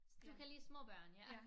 Du kan lide små børn ja